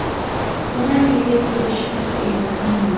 Sunami yuzaga kelishi xavfi e’lon qilinmadi.